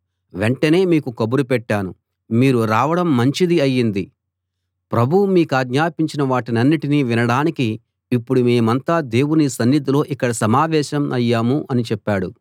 వెంటనే మీకు కబురు పెట్టాను మీరు రావడం మంచిది అయింది ప్రభువు మీకాజ్ఞాపించిన వాటన్నిటిని వినడానికి ఇప్పుడు మేమంతా దేవుని సన్నిధిలో ఇక్కడ సమావేశం అయ్యాము అని చెప్పాడు అందుకు పేతురు ఇలా అన్నాడు